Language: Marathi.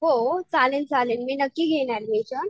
हो चालेल चालेल मी नक्की घेईन ऍडमिशन.